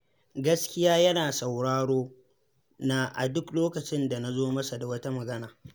Gaskiya yana sauraro na a duk lokacin da na zo masa da wata magana.